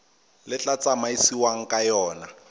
le tla tsamaisiwang ka yona